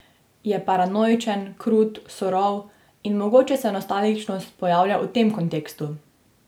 Je paranoičen, krut, surov in mogoče se nostalgičnost pojavlja v tem kontekstu.